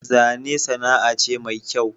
Zane sana'a ce me kyau